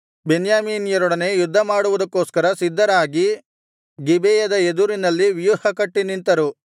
ಬೆನ್ಯಾಮೀನ್ಯರೊಡನೆ ಯುದ್ಧಮಾಡುವುದಕ್ಕೋಸ್ಕರ ಸಿದ್ಧರಾಗಿ ಗಿಬೆಯದ ಎದುರಿನಲ್ಲಿ ವ್ಯೂಹಕಟ್ಟಿ ನಿಂತರು